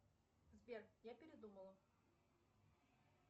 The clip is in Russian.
сбер я передумала